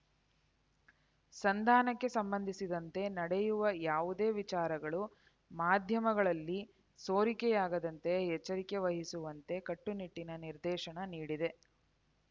ಸಂಧಾನಕ್ಕೆ ಸಂಬಂಧಿಸಿದಂತೆ ನಡೆಯುವ ಯಾವುದೇ ವಿಚಾರಗಳು ಮಾಧ್ಯಮಗಳಲ್ಲಿ ಸೋರಿಕೆಯಾಗದಂತೆ ಎಚ್ಚರಿಕೆ ವಹಿಸುವಂತೆ ಕಟ್ಟುನಿಟ್ಟಿನ ನಿರ್ದೇಶನ ನೀಡಿದೆ